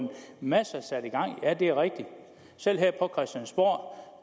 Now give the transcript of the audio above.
masser er sat i gang ja det er rigtigt selv her på christiansborg